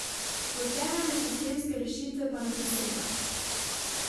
V temeljne sistemske rešitve pa ne posega.